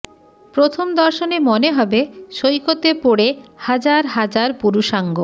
প্রথম দর্শনে মনে হবে সৈকতে পড়ে হাজার হাজার পুরুষাঙ্গ